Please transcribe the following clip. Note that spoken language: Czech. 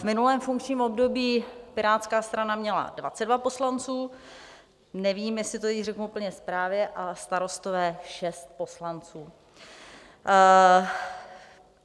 V minulém funkčním období Pirátská strana měla 22 poslanců, nevím, jestli to teď řeknu úplně správně, a Starostové 6 poslanců.